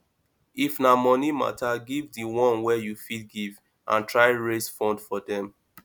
if na money matter give di one wey you fit give and try raise funds for dem